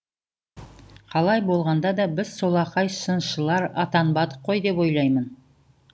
қалай болғанда да біз солақай сыншылар атанбадық қой деп ойлаймын